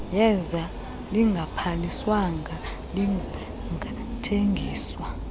yeza lingabhaliswanga lingathengiswa